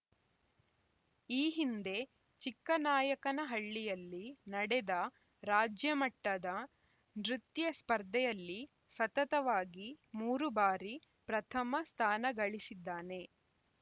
ಈ ಹಿಂದೆ ಚಿಕ್ಕನಾಯಕನಹಳ್ಳಿಯಲ್ಲಿ ನಡೆದ ರಾಜ್ಯ ಮಟ್ಟದ ನೃತ್ಯ ಸ್ಪರ್ಧೆಯಲ್ಲಿ ಸತತವಾಗಿ ಮೂರು ಬಾರಿ ಪ್ರಥಮ ಸ್ಥಾನಗಳಿಸಿದ್ದಾನೆ